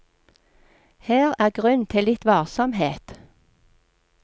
Her er grunn til litt varsomhet.